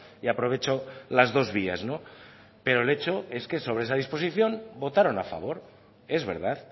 y aprovecho las dos vías pero el hecho es que sobre esa disposición votaron a favor es verdad